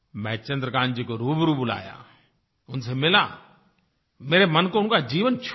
मैंने चन्द्रकान्त जी को रूबरू बुलाया उनसे मिला मेरे मन को उनका जीवन छू गया